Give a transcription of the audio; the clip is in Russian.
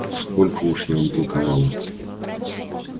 сколько уж я вам толковала